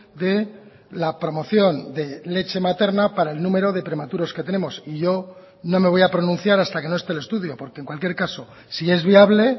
de la promoción de leche materna para el número de prematuros que tenemos y yo no me voy a pronunciar hasta que no esté el estudio porque en cualquier caso si es viable